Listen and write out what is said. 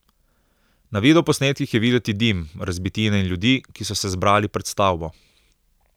Na videoposnetkih je videti dim, razbitine in ljudi, ki so se zbrali pred stavbo.